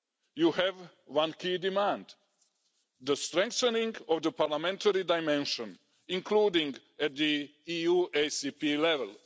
You have one key demand the strengthening of the parliamentary dimension, including at the EU ACP level.